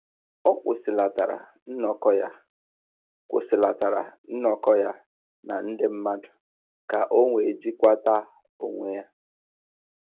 Ọ kwụsịlatara nnọkọ ya kwụsịlatara nnọkọ ya na ndị mmadụ ka o wee jikwata onwe ya